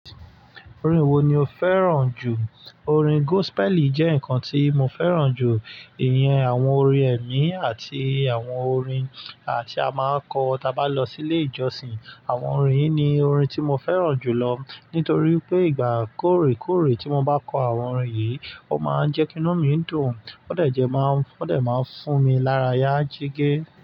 Orin wo ni o fẹ́ràn jù? Orin gospel jẹ́ nǹkan tí mo fẹ́ràn jù. Ìyẹn àwọn orin ẹ̀mí àti àwọn orin tí a máa ń kọ tí a bá lọ sí ilé ìjọsìn. Àwọn orin yìí ni orin tí mo fẹ́ràn jù lọ nítorí pé ìgbà kúrekúre tí mo bá kọ àwọn orin yìí, ó máa ń jẹ́ kí inú mi dùn. Ó dẹ̀ máa ń fún mi lára yá jege.